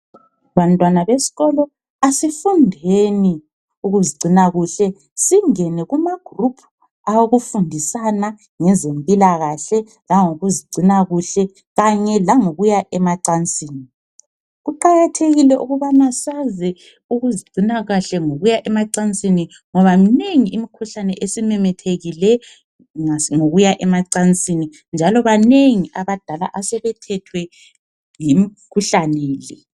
Bantwana besikolo asifundeni ukuzigcina kuhle singene kumagroup awokufundisana ngezempilakahle langokuzigcina kuhle kanye langokuya emacansini. Kuqakathekile ukubana sazi ukuzigcina kahle ngokuya emacansini ngoba minengi imikhuhlane esimemethekile ngokuya emacansini njalo banengi abadala asebethethwe yimikhuhlane le.